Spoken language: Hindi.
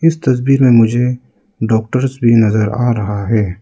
इस तस्वीर में मुझे डॉक्टर्स भी नजर आ रहा है।